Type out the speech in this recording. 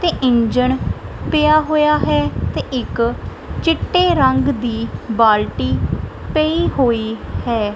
ਤੇ ਇੰਜਨ ਪਿਆ ਹੋਇਆ ਹੈ ਤੇ ਇੱਕ ਚਿੱਟੇ ਰੰਗ ਦੀ ਬਾਲਟੀ ਪਈ ਹੋਈ ਹੈ।